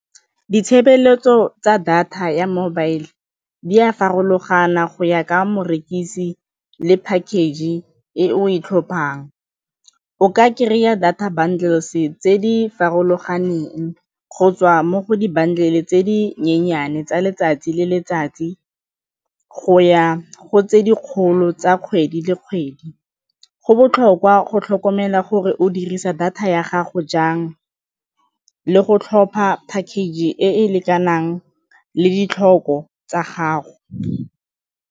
Ditshebeletso tsa data ya mobile di a farologana go ya ka morekisi le package e o e tlhophang. O ka kry-a data channels tse di farologaneng go tswa mo go di-bundles tse dinyenyane tsa letsatsi le letsatsi go ya go tse dikgolo tsa kgwedi le kgwedi. Go botlhokwa go tlhokomela gore o dirisa data ya gago jang le go tlhopha package e e lekanang le ditlhoko tsa gago.